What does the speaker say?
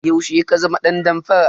Yaushe ka zama dan damfara?